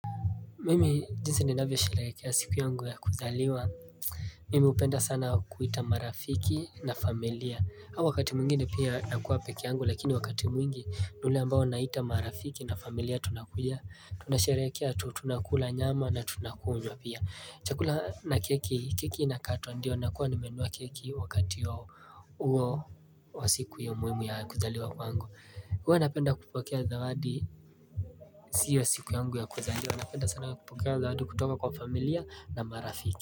Mimi jinsi ni navyosherekea siku yangu ya kuzaliwa Mimi upenda sana kuita marafiki na familia au wakati mwingine pia nakuwa pekee yangu lakini wakati mwingi ni ule ambao naita marafiki na familia tunakuja tunasherekea tu tunakula nyama na tunakunywa pia Chakula na keki keki na katwa ndio nakuwa nimenua keki wakati ya uo wa siku hio muimu ya kuzaliwa kwangu huwa napenda kupokea zawadi siyo siku yangu ya kuzaliwa napenda sana kupokea zawadi kutoka kwa familia na marafiki.